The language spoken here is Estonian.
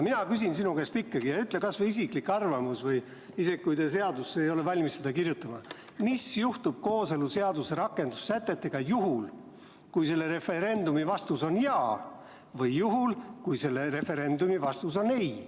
Mina küsin sinu käest ikkagi: ütle kas või isiklik arvamus, isegi kui te ei ole valmis seda seadusesse kirjutama, mis juhtub kooseluseaduse rakendussätetega juhul, kui selle referendumi vastus on jah, või juhul, kui selle referendumi vastus on ei.